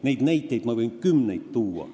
Neid näiteid võin ma kümneid tuua.